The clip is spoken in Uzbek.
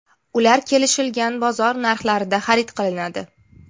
Ular kelishilgan bozor narxlarida xarid qilinadi.